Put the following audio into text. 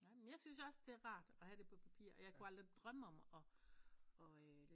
Nej men jeg syntes også det er rart at have det på papir og jeg kunne aldrig drømme om og og